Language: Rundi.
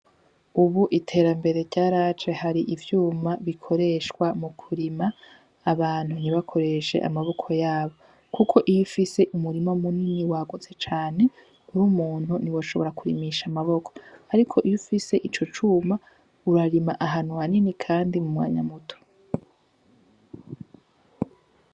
Ubu iterambere rya race hari ivyuma bikoreshwa mu kurima abantu nibakoreshe amaboko yabo, kuko iyo ufise umurimo munini wagotse cane uri umuntu ni woshobora kurimisha amaboko, ariko iyo ufise ico cuma urarima ahanu hanini, kandi mu mwanyamuto gggig.